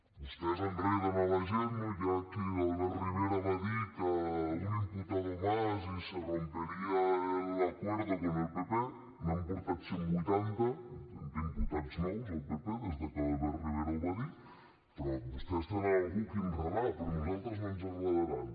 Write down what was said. vostès enreden la gent no ja que l’albert rivera va dir que un imputado más y se rompería el acuerdo con el pp n’han portat cent vuitanta d’imputats nous al pp des que l’albert rivera ho va dir però vostès tenen algú a qui enredar però a nosaltres no ens enredaran